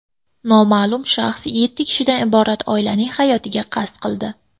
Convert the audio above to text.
Noma’lum shaxs yetti kishidan iborat oilaning hayotiga qasd qildi.